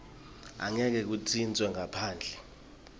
angeke kuntjintjwe ngaphandle